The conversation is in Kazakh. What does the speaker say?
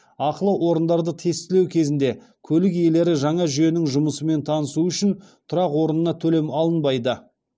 ақылы орындарды тестілеу кезінде көлік иелері жаңа жүйенің жұмысымен танысуы үшін тұрақ орнына төлем алынбайды